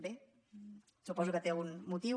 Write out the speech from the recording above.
bé suposo que té un motiu